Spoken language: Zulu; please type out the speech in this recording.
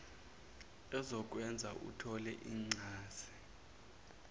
ezokwenza uthole incaze